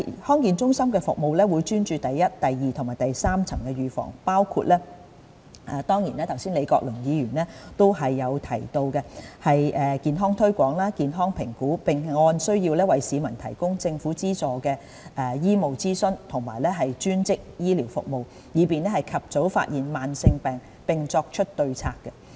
康健中心的服務會專注於第一、第二及第三層預防，包括剛才李國麟議員提到的健康推廣、健康評估，並按需要為市民提供政府資助的醫務諮詢及專職醫療服務，以便及早發現慢性疾病並作出對策。